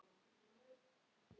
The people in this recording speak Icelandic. Við seljum áburð, ekki eitur.